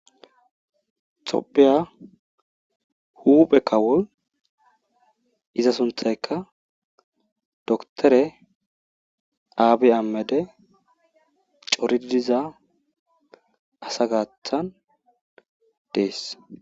Xopiya hubekawol iza sunthaykka doktore aabi ammede coridiza asa gaathan dees.